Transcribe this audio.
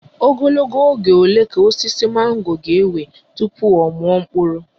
Ogologo oge ole ka osisi mango ga-ewe tupu ọ mụọ mkpụrụ?